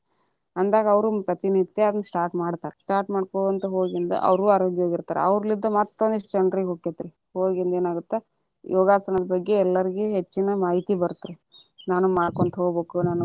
ಅಂದಾಗ ಅವ್ರು ಪ್ರತಿ ನಿತ್ಯ start ಮಾಡ್ತಾರ, start ಮಾಡ್ಕೊಂತ ಹೋಗಿ ಹಂಗ ಅವ್ರು ಆರೋಗ್ಯವಾಗಿ ಇರತಾರ ಅವರಲ್ಲಿಂತ ಮತ್ತ ಒಂದಿಷ್ಟ ಜನರಿಗೆ ಹೊಕ್ಕೇತ್ರಿ ಹೋಗಿ ಇನ್ನೇನ ಆಗತ್ತ ಯೋಗಾಸನದ ಬಗ್ಗೆ ಎಲ್ಲರಿಗೂ ಹೆಚ್ಚಿನ ಮಾಹಿತಿ ಬರತ್ತರಿ ನಾನು ಮಾಡ್ಕೊಂತ ಹೋಗ್ಬೇಕ.